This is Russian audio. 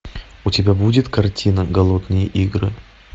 у тебя будет картина голодные игры